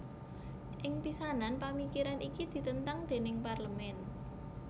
Ing pisanan pamikiran iki ditentang déning Parlemen